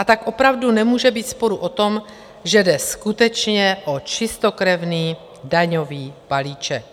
A tak opravdu nemůže být sporu o tom, že jde skutečně o čistokrevný daňový balíček.